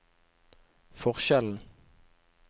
forskjellen